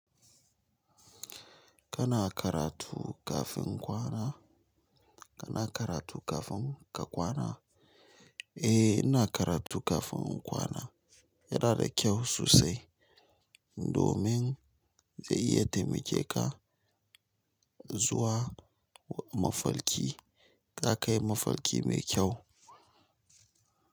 Kana karatu kafin kwana? Kana karatu kafin ka kwana? Eh, ina karatu kafin kwana. Yana da kyau sosai. Domin zai iya taimake ka zuwa mafalki ka kai mafalki mai kyau.